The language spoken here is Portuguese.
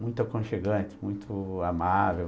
Muito aconchegante, muito amável.